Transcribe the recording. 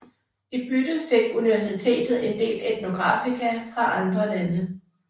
I bytte fik Universitetet en del etnografika fra andre lande